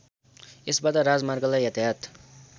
यसबाट राजमार्गलाई यातायात